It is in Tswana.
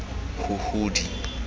huhudi